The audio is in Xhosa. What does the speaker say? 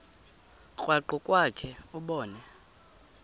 krwaqu kwakhe ubone